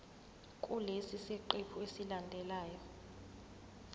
kulesi siqephu esilandelayo